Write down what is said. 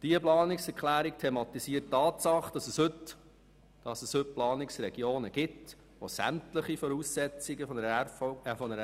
Diese Planungserklärung thematisiert die Tatsache, dass es heute Planungsregionen gibt, die sämtliche Voraussetzungen einer Regionalkonferenz erfüllen.